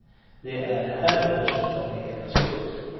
Det är här börsen tar rejäla skutt.